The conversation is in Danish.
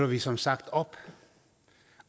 vi som sagt op